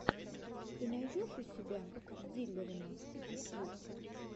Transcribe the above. ты найдешь у себя диллерона ютьюб